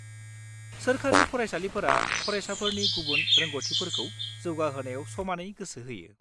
-सोरखारि फरायसालिफोरा फरायसाफोरनि गुबुन रोंग'थिफोरखौ जौगाहोनायाव समानै गोसो होयो।